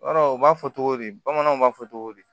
Yɔrɔ u b'a fɔ togo di bamananw b'a fɔ togo di